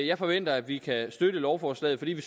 jeg forventer at vi kan støtte lovforslaget fordi vi